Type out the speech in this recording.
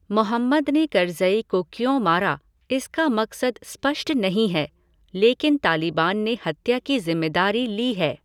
मोहम्मद ने करज़ई को क्यों मारा, इसका मकसद स्पष्ट नहीं है, लेकिन तालिबान ने हत्या की ज़िम्मेदारी ली है।